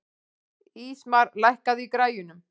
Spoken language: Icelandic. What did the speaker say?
Ísmar, lækkaðu í græjunum.